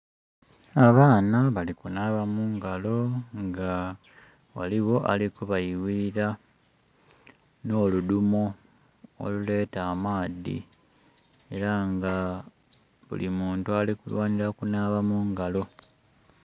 Abaana bali kunaaba mungalo nga ghaligho ali ku bayughilira no ludhumo oluleeta amaadhi era nga buli muntu ali kulwanira kunaaba mungalo.